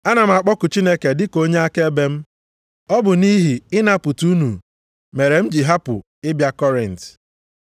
Ana m akpọku Chineke dịka onye akaebe m, ọ bụ nʼihi ịnapụta unu mere m ji hapụ ịbịa Kọrint.